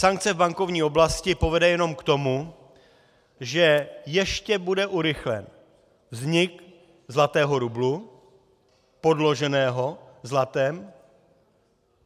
Sankce v bankovní oblasti povede jenom k tomu, že ještě bude urychlen vznik zlatého rublu podloženého zlatem.